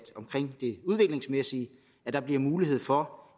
omkring det udviklingsmæssige bliver mulighed for